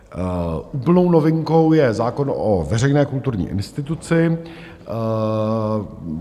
Úplnou novinkou je zákon o veřejné kulturní instituci.